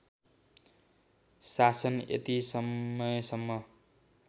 शासन यति समयसम्म